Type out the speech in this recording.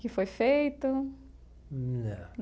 Que foi feito? Não.